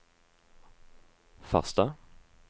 Farstad